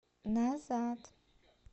назад